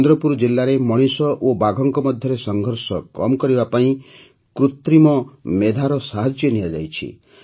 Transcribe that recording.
ଚନ୍ଦ୍ରପୁର ଜିଲାରେ ମଣିଷ ଓ ବାଘଙ୍କ ମଧ୍ୟରେ ସଂଘର୍ଷ କମ୍ କରିବା ପାଇଁ କୃତ୍ରିମ ମେଧାର ସାହାଯ୍ୟ ନିଆଯାଉଛି